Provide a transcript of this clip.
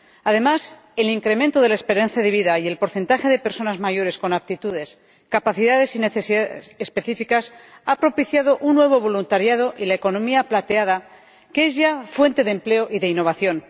Además, el incremento de la esperanza de vida y el porcentaje de personas mayores con aptitudes, capacidades y necesidades específicas ha propiciado un nuevo voluntariado y la economía plateada, que es ya fuente de empleo y de innovación.